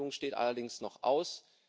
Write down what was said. Eine Einigung steht allerdings noch aus.